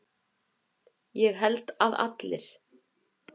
Ég held að allir.